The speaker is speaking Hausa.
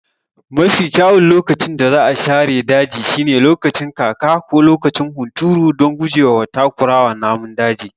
Mafi kyawun lokacin da za a share daji shine lokacin kaka ko lokacin hunturu don guje wa takurawa namun daji.